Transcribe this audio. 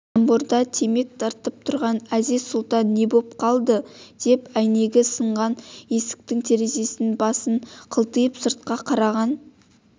тамбурда темек тартып тұрған әзиз-сұлтан не боп қалды деп әйнегі сынған есіктің терезесінен басын қылтитып сыртқа қараған